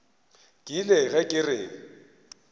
ke ile ge ke re